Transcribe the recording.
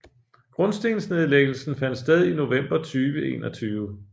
Grundstensnedlæggelsen fandt sted i november 2021